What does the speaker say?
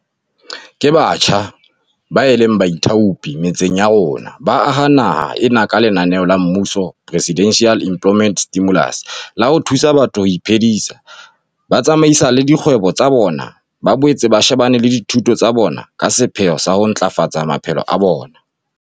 Ke batjha bao e leng baithaopi metseng ya rona, ba aha naha ena ka lenaneo la mmuso la Presidential Employment Stimulus la ho thusa batho ho iphedisa, ba tsamaisale dikgwebo tsa bona, ba boetse ba shebane le dithuto tsa bona ka sepheo sa ho ntlafafatsa maphelo a bona.